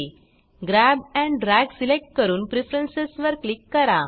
grab and drag select करून preference वर click करा